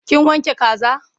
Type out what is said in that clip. Kin wanke kaza?